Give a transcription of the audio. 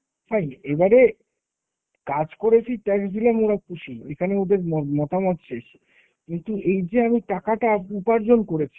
fine? এবারে কাজ করেছি, tax দিলাম ওরা খুশি। এখানে ওদের ম~ মতামত চাইছি। কিন্তু এই যে আমি টাকাটা উপার্জন করেছি